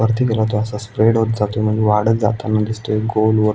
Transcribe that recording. वरती परत असा स्प्रेड होत जातो म्हणजे वाढत जाताना दिसतंय गोल वर--